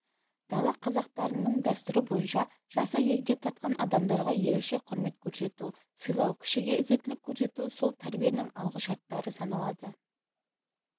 дала қазақтарының дәстүрі бойынша жасы егде тартқан адамдарға ерекше құрмет көрсету сыйлау кішіге ізеттелік көрсету сол тәрбиенің алғышарттары саналады